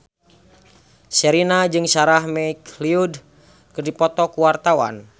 Sherina jeung Sarah McLeod keur dipoto ku wartawan